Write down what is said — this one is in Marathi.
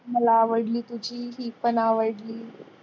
मला आवडली तुझी ही पण आवडली.